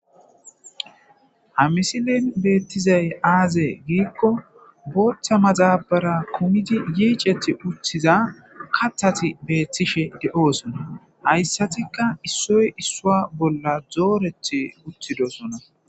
hamisilen beettizay aaze giikko booththa maxabara kumidi yiicethi uthiza kathati beeththishe de7oosona hayssatikka issoy issua bolla zoorethi uthidosona